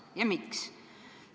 Ja miks?